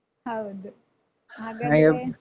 ಹೌದು ಹಾಗಾದ್ರೆ